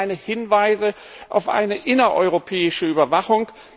Es gibt auch keine Hinweise auf eine innereuropäische Überwachung.